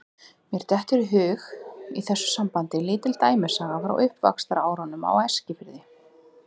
Mér dettur í hug í þessu sambandi lítil dæmisaga frá uppvaxtarárunum á Eskifirði.